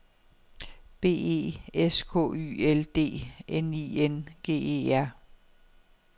B E S K Y L D N I N G E R